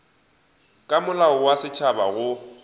ka molao wa setšhaba go